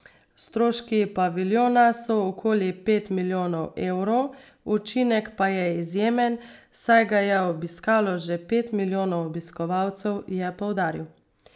Stroški paviljona so okoli pet milijonov evrov, učinek pa je izjemen, saj ga je obiskalo že pet milijonov obiskovalcev, je poudaril.